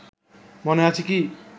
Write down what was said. মনে আছে কি